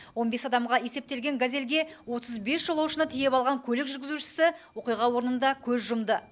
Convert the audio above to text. он бес адамға есептелген газельге отыз бес жолаушыны тиеп алған көлік жүргізушісі оқиға орнында көз жұмды